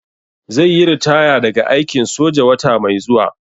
Zai yi ritaya daga aikin soja wata mai zuwa.